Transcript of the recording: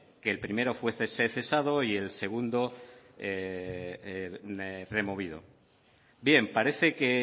que fuese cesado y el segundo removido bien parece que